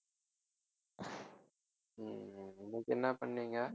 உம் இன்னைக்கு என்ன பண்ணீங்க